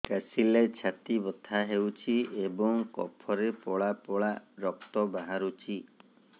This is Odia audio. କାଶିଲେ ଛାତି ବଥା ହେଉଛି ଏବଂ କଫରେ ପଳା ପଳା ରକ୍ତ ବାହାରୁଚି